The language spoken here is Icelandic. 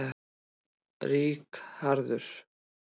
Ríkharður